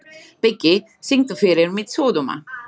Biggi, syngdu fyrir mig „Sódóma“.